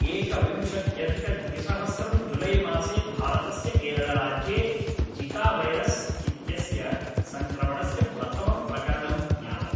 एकविंशत्यधिकद्विसहस्रं जुलैमासे भारतस्य केरळराज्ये जिकावैरस् इत्यस्य सङ्क्रमणस्य प्रथमं प्रकरणं ज्ञातम्